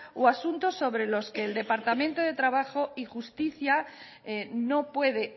o asuntos sobre los que el departamento de trabajo y justicia no puede